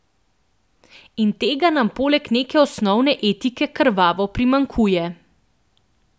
In tega nam poleg neke osnovne etike krvavo primanjkuje.